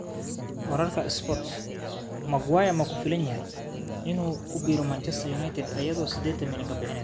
(Sport) Maguire ma ku filan yahay inuu ku biiro Manchester United iyadoo sidedan milyan?